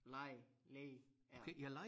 Læge læge er